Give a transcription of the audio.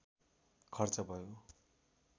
खर्च भयो